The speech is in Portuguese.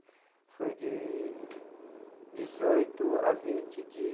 Foi de dezoito a vinte de.